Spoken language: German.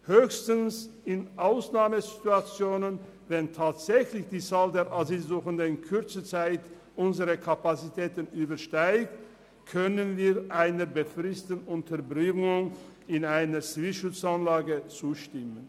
Höchstens in Ausnahmesituationen, wenn tatsächlich die Zahl der Asylsuchenden unsere Kapazitäten übersteigt, können wir einer befristeten Unterbringung in einer Zivilschutzanlage zustimmen.